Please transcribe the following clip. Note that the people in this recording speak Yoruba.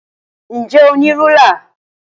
Ǹ jẹ́ o ní rúlà?